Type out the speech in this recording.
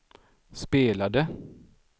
spelade